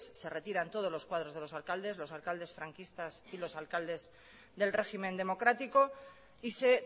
se retiran todos los cuadros de los alcaldes los alcaldes franquistas y los alcaldes del régimen democrático y se